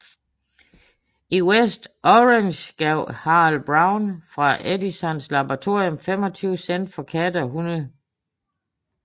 I West Orange gav Harold Brown fra Edisons laboratorium 25 cent for katte og hunde